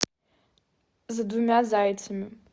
за двумя зайцами